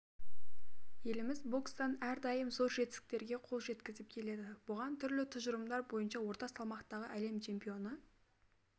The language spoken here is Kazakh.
еліміз бокстан әрдайым зор жетістіктерге қол жеткізіп келеді бұған түрлі тұжырымдар бойынша орта салмақтағы әлем чемпионы